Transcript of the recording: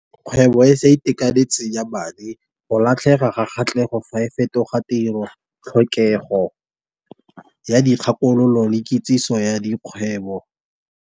Kgwebo e sa itekanetseng ya madi, go latlhega ga kgatlhego. Fa e fetoga tiro tlhokego ya dikgakololo le kitsiso ya dikgwebo.